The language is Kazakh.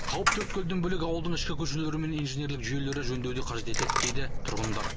қауіпті өткелден бөлек ауылдың ішкі көшелері мен инженерлік жүйелері жөндеуді қажет етеді дейді тұрғындар